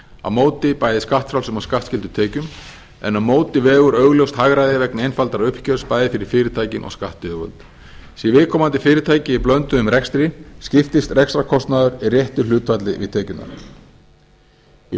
á móti bæði skattfrjálsum og skattskyldum tekjum en á móti vegur augljóst hagræði vegna einfaldara uppgjörs bæði fyrir fyrirtækin og skattyfirvöld sé viðkomandi fyrirtæki í blönduðum rekstri skiptist rekstrarkostnaður í réttu hlutfalli við tekjurnar í